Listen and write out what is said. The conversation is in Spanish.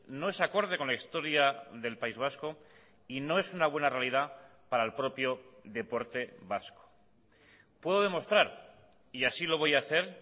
no es acorde con la historia del país vasco y no es una buena realidad para el propio deporte vasco puedo demostrar y así lo voy a hacer